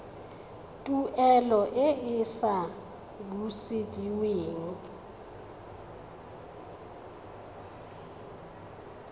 tuelo e e sa busediweng